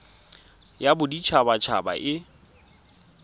ya bodit habat haba e